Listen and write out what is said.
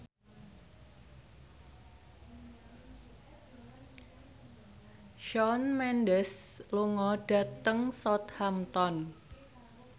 Shawn Mendes lunga dhateng Southampton